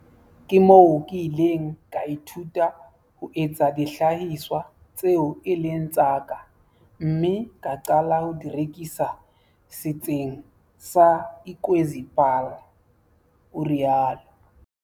"Ke moo ke ileng ka ithuta ho etsa dihlahiswa tseo e leng tsa ka mme ka qala ho di rekisa Setsing sa Ikwezi Paarl," o rialo.